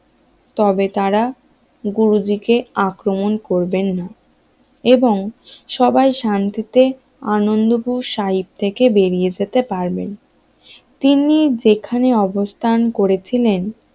তবে তারা গুরুজীকে আক্রমণ করবেন না এবং সবাই শান্তিতে আনন্দপুর সাহিব থেকে বেরিয়ে যেতে পারবেন তিনি যেখানে অবস্থান করেছিলেন